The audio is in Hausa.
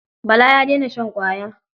Bala ya daina shan ƙwaya.